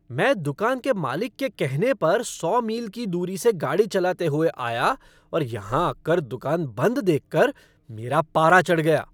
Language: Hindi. मैं दुकान के मालिक के कहने पर सौ मील की दूरी से गाड़ी चलाते हुए आया और यहां आकर दुकान बंद देख कर मेरा पारा चढ़ गया।